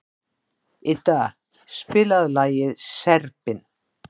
Idda, spilaðu lagið „Serbinn“.